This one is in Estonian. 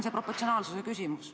Aivar Kokk, palun!